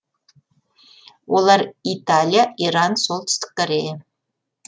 олар италия иран оңтүстік корея